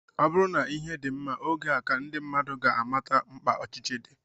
Ọ bụrụ na ihe dị mma, oge a ka ndị mmadụ ga-amata mkpa ọchịchị dị